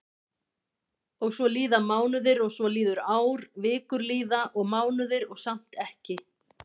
Og svo líða mánuðir og svo líður ár, vikur líða og mánuðir og samt ekki.